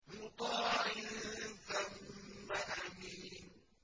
مُّطَاعٍ ثَمَّ أَمِينٍ